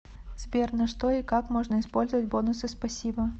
сбер на что и как можно использовать бонусы спасибо